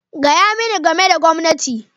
Gaya mani game da gwamnati!